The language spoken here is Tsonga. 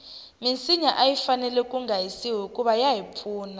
minsinya ayi fanele kunga hisiwi hikuva yahi pfuna